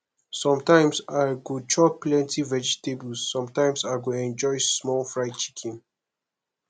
sometimes i go chop plenty vegetables sometimes i go enjoy small fried chicken